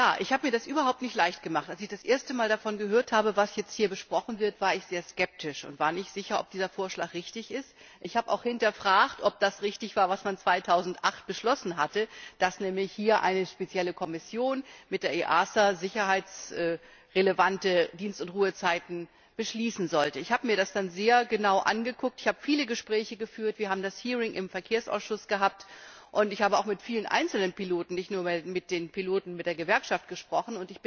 Ich habe mir das überhaupt nicht leicht gemacht. Als ich das erste Mal davon gehört habe, was jetzt hier besprochen wird, war ich sehr skeptisch und nicht sicher, ob dieser Vorschlag richtig ist. Ich habe auch hinterfragt, ob das richtig war, was man 2008 beschlossen hatte, dass nämlich hier eine spezielle Kommission mit der EASA sicherheitsrelevante Dienst und Ruhezeiten beschließen sollte. Ich habe mir das dann sehr genau angeschaut, ich habe viele Gespräche geführt, wir haben das Hearing im Verkehrsausschuss gehabt, und ich habe auch mit vielen einzelnen Piloten nicht nur mit den Piloten der Gewerkschaft gesprochen.